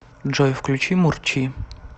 джой включи мурчи